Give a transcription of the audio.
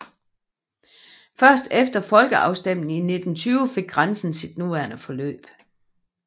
Først efter folkeafstemningen i 1920 fik grænsen sit nuværende forløb